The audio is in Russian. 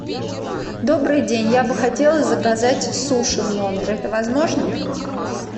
добрый день я бы хотела заказать суши в номер это возможно